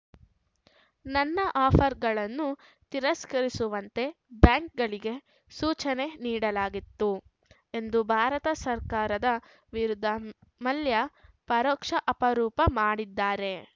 ನನ್ನ ಆಫರ್‌ಗಳನ್ನು ತಿರಸ್ಕರಿಸುವಂತೆ ಬ್ಯಾಂಕ್‌ಗಳಿಗೆ ಸೂಚನೆ ನೀಡಲಾಗಿತ್ತು ಎಂದು ಭಾರತ ಸರ್ಕಾರದ ವಿರುದ್ಧ ಮಲ್ಯ ಪರೋಕ್ಷ ಆರೋಪ ಮಾಡಿದ್ದಾರೆ